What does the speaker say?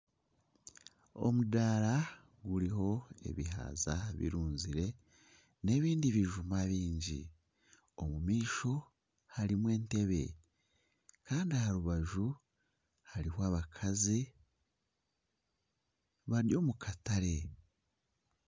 Omudaara guriho ebihaza birunzire, n'ebindi bijuma baingi omu maisho harimu entebe kandi aha rubaju hariho abakazi bari omu katare